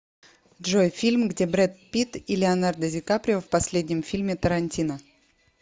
джой фильм где брэд пит и леонардо ди каприо в последнем фильме тарантино